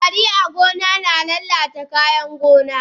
Kwari a gona na lalata kayan gona.